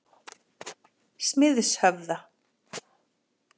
Smiðshöfða